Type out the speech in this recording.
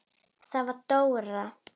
Það var Dóra.